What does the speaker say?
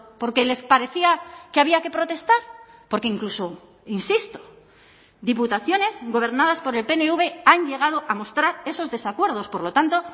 porque les parecía que había que protestar porque incluso insisto diputaciones gobernadas por el pnv han llegado a mostrar esos desacuerdos por lo tanto